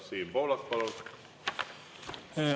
Siim Pohlak, palun!